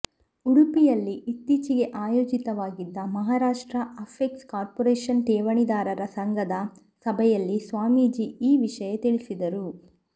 ಉಡುಪಿಯಲ್ಲಿ ಇತ್ತೀಚೆಗೆ ಆಯೋಜಿತವಾಗಿದ್ದ ಮಹಾರಾಷ್ಟ್ರ ಅಪೆಕ್ಸ್ ಕಾರ್ಪೊರೇಷನ್ ಠೇವಣಿದಾರರ ಸಂಘದ ಸಭೆಯಲ್ಲಿ ಸ್ವಾಮೀಜಿ ಈ ವಿಷಯ ತಿಳಿಸಿದರು